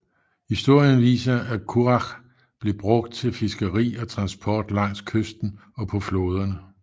Historien viser at curach blev brugt til fiskeri og transport langs kysten og på floderne